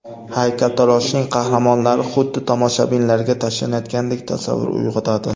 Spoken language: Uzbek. Haykaltaroshning qahramonlari xuddi tomoshabinlarga tashlanayotgandek tasavvur uyg‘otadi.